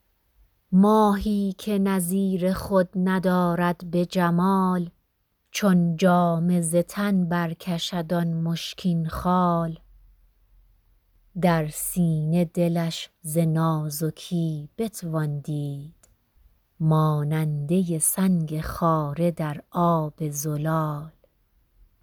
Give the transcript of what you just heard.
ماهی که نظیر خود ندارد به جمال چون جامه ز تن برکشد آن مشکین خال در سینه دلش ز نازکی بتوان دید ماننده سنگ خاره در آب زلال